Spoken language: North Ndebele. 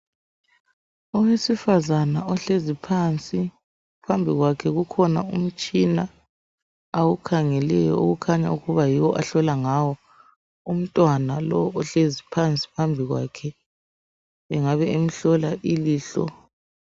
Owesifazana ohlezi phansi, phambi kwakhe kukhona umtshina awukhangeleyo okukhanya ukuba yiwo ahlola ngawo umntwana lo ohlezi phansi phambi kwakhe, engabe emhlola ilihlo.